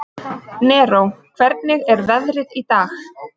Neró, hvernig er veðrið í dag?